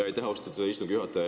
Aitäh, austatud istungi juhataja!